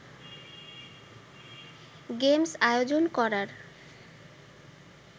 games আয়োজন করার